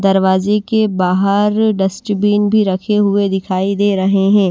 दरवाजे के बाहर डस्टबिन भी रखे हुए दिखाई दे रहे हैं।